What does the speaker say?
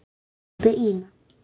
sagði Ína.